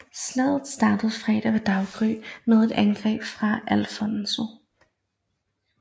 Slaget startede fredag ved daggry med et angreb fra Alfonso